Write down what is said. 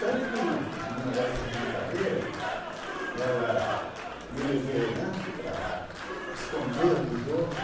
Tanto que, numa dessas brincadeira, ela me levou né para esconder dos outros.